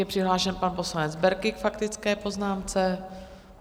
Je přihlášen pan poslanec Berki k faktické poznámce.